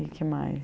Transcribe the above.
E o que mais?